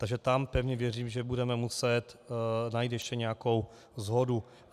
Takže tam pevně věřím, že budeme muset najít ještě nějakou shodu.